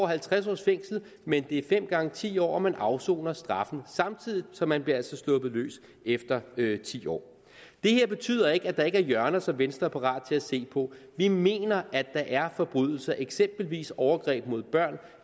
halvtreds års fængsel men det er fem gange ti år og man afsoner straffene samtidig så man bliver altså sluppet løs efter ti år det her betyder ikke at der ikke er hjørner som venstre er parat til at se på vi mener at der er forbrydelser eksempelvis overgreb mod børn og